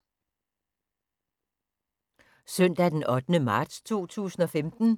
Søndag d. 8. marts 2015